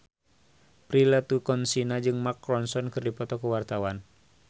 Prilly Latuconsina jeung Mark Ronson keur dipoto ku wartawan